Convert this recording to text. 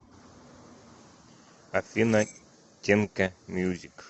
афина тенка мьюзик